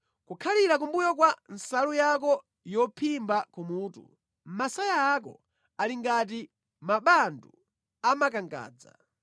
Kukhalira kumbuyo kwa nsalu yako yophimba kumutu, masaya ako ali ngati mabandu a makangadza.